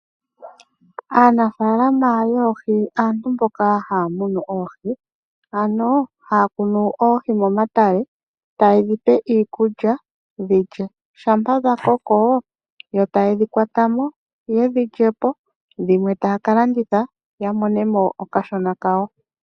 Aanafaalama yoohi aantu mboka haya munu oohi ano haya kunu oohi momatale taye dhipe iikulya dhilye. Shampa dha koko yo taye dhikwatamo yedhilye po dhimwe taya kalanditha ya monemo okashona kawo.